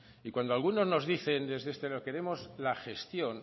y cuando algunos nos dicen desde este lado queremos la gestión